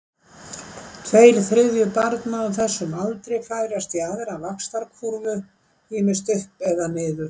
Tveir þriðju barna á þessum aldri færast á aðra vaxtarkúrfu, ýmist upp eða niður.